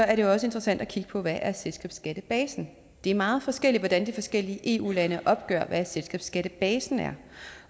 er det også interessant at kigge på hvad selskabsskattebasen det er meget forskelligt hvordan de forskellige eu lande opgør hvad selskabsskattebasen er